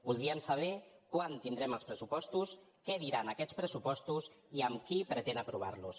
voldríem saber quan tindrem els pressupostos què diran aquests pressupostos i amb qui pretén aprovar los